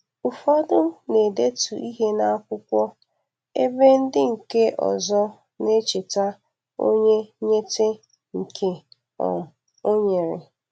Ụfọdụ na-edetu ihe n'akwụkwọ ebe ndị nke ozọ na-echeta onye nyete nke um o nyere.